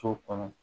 So kɔnɔ